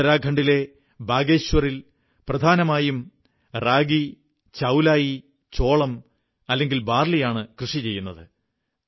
ഉത്തരാഖണ്ഡിലെ ബാഗേശ്വറിൽ പ്രധാനമായും റാഗി ചൌലായിamaranth ചോളം അല്ലെങ്കിൽ ബാർലിയാണു കൃഷി ചെയ്യുന്നത്